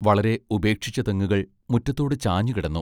വളരെ ഉപേക്ഷിച്ച തെങ്ങുകൾ മുറ്റത്തോടു ചാഞ്ഞുകിടന്നു.